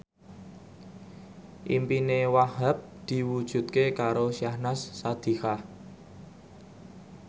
impine Wahhab diwujudke karo Syahnaz Sadiqah